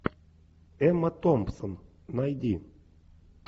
эмма томпсон найди